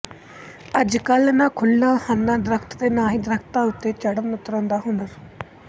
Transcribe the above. ਅੱਜ ਕੱਲ ਨਾ ਖੁੱਲਾਂ ਹਨਨਾ ਦਰਖਤ ਤੇ ਨਾ ਹੀ ਦਰਖਤਾਂ ਉੱਤੇ ਚੜਣ ਉਤਰਨ ਦਾ ਹੁਨਰ